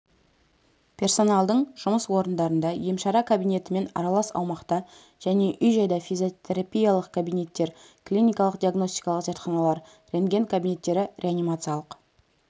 персоналдың жұмыс орындарында емшара кабинетімен аралас аумақта және үй-жайда физиотерапиялық кабинеттер клиникалық-диагностикалық зертханалар рентген кабинеттері реанимациялық